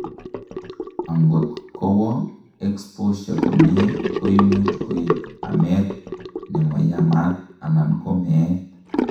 angot kowoo exposure komie, koimuch koib amet nemoyamat anan ko meet